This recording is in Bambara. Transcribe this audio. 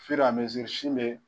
sin bɛ